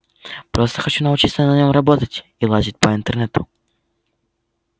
просто хочу научиться на нём работать и лазить по интернету